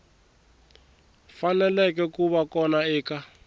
faneleke ku va kona eka